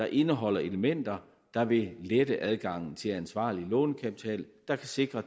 indeholder elementer der vil lette adgangen til ansvarlig lånekapital der kan sikre